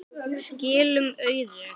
Skilum auðu.